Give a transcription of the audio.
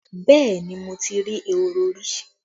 Yes, I have seen rabbits before